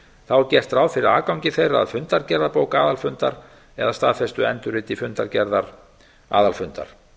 þá er gert ráð fyrir aðgangi þeirra að fundargerðabók aðalfundar eða staðfestu endurriti fundargerðar aðalfundar